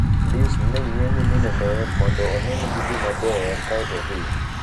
Luis ne ng'iyo nyiminene mondo one ni gidhi maber, kae to odhi. "